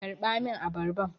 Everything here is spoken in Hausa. Karɓa min abarban!